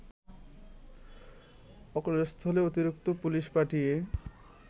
অকুস্থলে অতিরিক্ত পুলিশ পাঠিয়ে